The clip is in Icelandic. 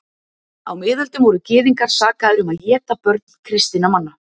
Á miðöldum voru gyðingar sakaðir um að éta börn kristinna manna.